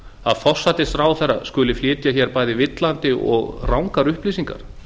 að forsætisráðherra skuli flytja hér bæði villandi og rangar upplýsingar